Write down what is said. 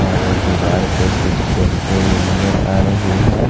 और दीवार पे कुछ पेंटे भी नजर आ रही हैं।